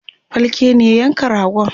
falke ne ya yanka ragon